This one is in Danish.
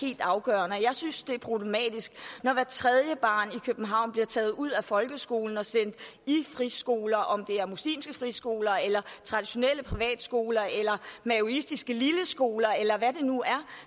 helt afgørende jeg synes det er problematisk når hvert tredje barn i københavn bliver taget ud af folkeskolen og sendt i friskoler om det er muslimske friskoler eller traditionelle privatskoler eller maoistiske lilleskoler eller hvad det nu er